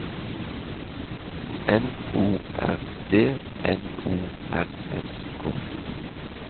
N O R D N O R S K